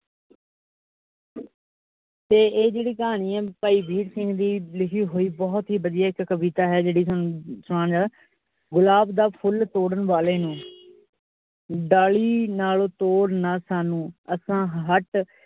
ਤੇ ਇਹ ਜਿਹੜੀ ਕਹਾਣੀ ਹੈ ਭਾਈ ਵੀਰ ਸਿੰਘ ਦੀ ਲਿਖੀ ਹੋਈ, ਬੋਹਤ ਹੀ ਵਧੀਆ ਇੱਕ ਕਵਿਤਾ ਹੈ. ਜਿਹੜੀ ਹੁਣ ਜੋ ਗੁਲਾਬ ਦਾ ਫੁੱਲ ਤੋੜਨ ਵਾਲੇ ਨੂੰ ਡਾਲੀ ਨਾਲੋਂ ਤੋੜ ਨਾ ਸਾਨੂੰ ਆਸਾ ਹਟ।